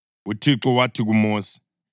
UThixo wathi kuMosi,